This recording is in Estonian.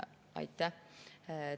Aitäh!